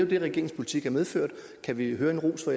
det regeringens politik har medført kan vi høre en ros fra